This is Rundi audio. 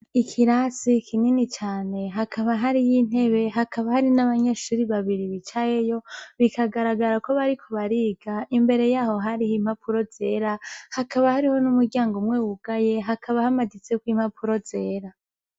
Ikirasi kinini cane hakaba hari y'intebe hakaba hari n'abanyeshuri babiri bicayeyo bikagaragara ko bariko bariga imbere yaho hariho impapuro zera hakaba hariho n'umuryango mwewugaye hakaba hamaditseko impapuro zera.